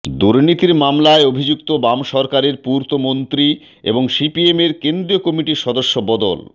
দুর্নীতির মামলায় অভিযুক্ত বাম সরকারের পূর্তমন্ত্রী এবং সিপিএমের কেন্দ্রীয় কমিটির সদস্য বাদল